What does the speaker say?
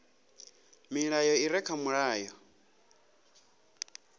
milayo i re kha mulayo